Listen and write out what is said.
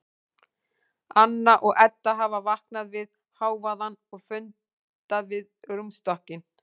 Anna og Edda hafa vaknað við hávaðann og funda við rúmstokkinn.